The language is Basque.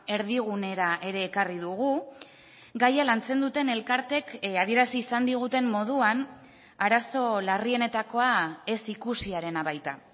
erdigunera ere ekarri dugu gaia lantzen duten elkarteek adierazi izan diguten moduan arazo larrienetakoa ez ikusiarena baita